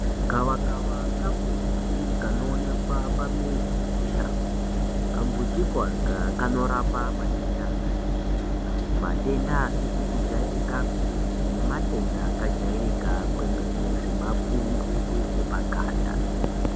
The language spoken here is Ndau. Gavakava kambuti kanoonekwa pamizi nemushango .Kambutiko ako, kanorapa matenda akati kuti, matenda asizi kujairikapi , nematenda akajairika kwemene, semapundu epaganda.